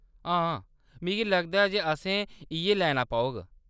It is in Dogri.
हां, मिगी लगदा ऐ जे असें इ'यै लैना पौग।